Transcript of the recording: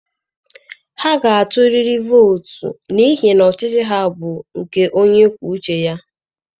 Ha ga-atụrịrị vootu n'ihi na ọchịchị ha bụ nke onye kwuo uche ya.